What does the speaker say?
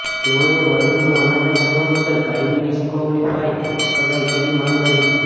તેઓએ વ્હીપનો અનાદર કરવા બદલ કાયમી ડિસ્કવોલિફાય કરાય તેવી માંગ કરી છે